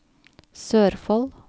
Sørfold